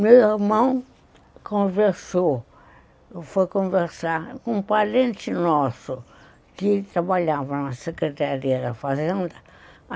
Meu irmão conversou, foi conversar com um parente nosso, que trabalhava na Secretaria da Fazenda.